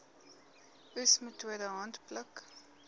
oes metode handpluk